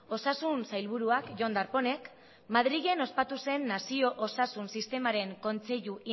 osasun sailburuak jon darpónek madrilen ospatu zen nazio osasun sistemaren kontseilu